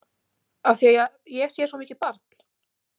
Af því að ég sé svo mikið barn?